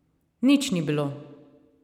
Nič ni bilo.